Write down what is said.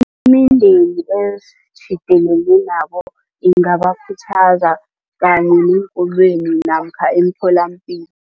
Imindeni esitjhidelene nabo ingabakhuthaza kanye neenkolweni namkha emtholapilo.